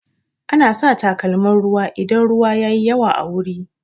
Ana sa takalmin ruwa idan ruwa yayi yawa a wuri